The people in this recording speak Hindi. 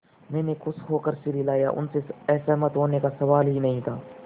मैंने खुश होकर सिर हिलाया उनसे असहमत होने का सवाल ही नहीं था